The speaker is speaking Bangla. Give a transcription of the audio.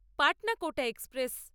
পাটনা কোটা এক্সপ্রেস